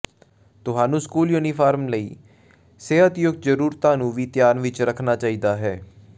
ਤੁਹਾਨੂੰ school uniform ਲਈ ਸਿਹਤਯੁਕਤ ਜ਼ਰੂਰਤਾਂ ਨੂੰ ਵੀ ਧਿਆਨ ਵਿਚ ਰੱਖਣਾ ਚਾਹੀਦਾ ਹੈ